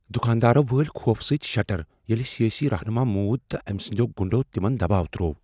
دکاندارو وٲلۍ خوفہٕ سۭتۍ شٹر ییٚلہ سیٲسی رہنما موٗد تہٕ أمۍ سٕنٛدیو گٗنٛڈو تمن دباو تروو۔